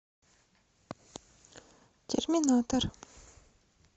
терминатор